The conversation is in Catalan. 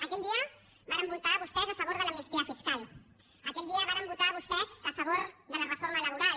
aquell dia varen votar vostès a favor de l’amnistia fiscal aquell dia varen votar vostès a favor de la reforma laboral